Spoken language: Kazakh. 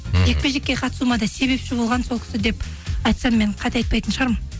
мхм жекпе жекке қатысуыма да себепші болған сол кісі деп айтсам мен қате айтпайтын шығармын